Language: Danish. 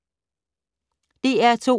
DR2